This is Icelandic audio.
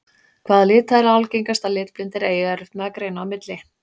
Hvaða lita er algengast að litblindir eigi erfitt með að greina á milli?